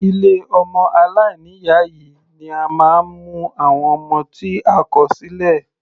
Ilé ọmọ aláìní ìyá ni a máa ń mu àwọn ọmọ tí a kò sílẹ̀.